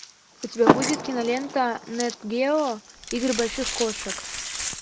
у тебя будет кинолента нэт гео игры больших кошек